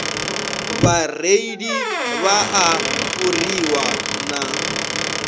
vhareili vha a fhuriwa na